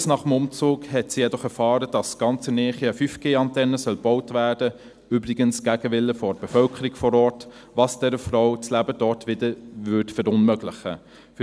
Kurz nach dem Umzug erfuhren sie jedoch, dass ganz in ihrer Nähe eine 5G-Antenne gebaut werden soll – übrigens gegen den Willen der Bevölkerung vor Ort –, was dieser Frau das Leben dort wieder verunmöglichen würde.